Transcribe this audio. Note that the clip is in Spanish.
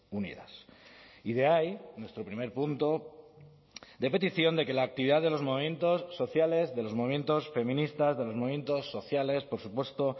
unidas y de ahí nuestro primer punto de petición de que la actividad de los movimientos sociales de los movimientos feministas de los movimientos sociales por supuesto